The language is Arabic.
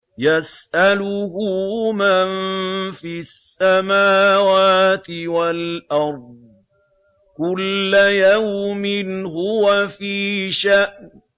يَسْأَلُهُ مَن فِي السَّمَاوَاتِ وَالْأَرْضِ ۚ كُلَّ يَوْمٍ هُوَ فِي شَأْنٍ